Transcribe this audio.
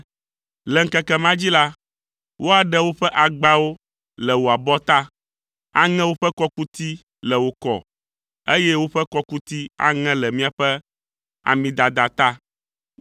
Le ŋkeke ma dzi la, woaɖe woƒe agbawo le wò abɔta, aŋe woƒe kɔkuti le wò kɔ, eye woƒe kɔkuti aŋe le miaƒe amidada ta.